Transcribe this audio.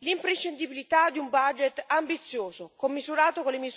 l'imprescindibilità di un budget ambizioso, commisurato con le